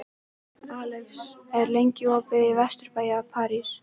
Alex, hvað er lengi opið í Vesturbæjarís?